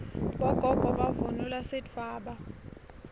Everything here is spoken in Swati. bogogo bavunula sidvwaba